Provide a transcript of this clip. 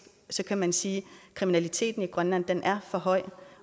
kan man sige at kriminaliteten i grønland er for høj